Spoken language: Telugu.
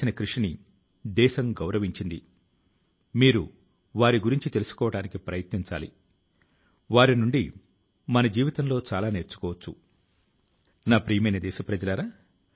ఆ ప్రమాదం లో దేశం ఒకటో సిడిఎస్ జనరల్ శ్రీ బిపిన్ రావత్ ఆయన భార్య తో సహా అనేక మంది ధైర్యవంతుల ను మనం కోల్పోయాం